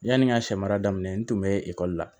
Yani n ka sɛmara daminɛ n tun bɛ ekɔli la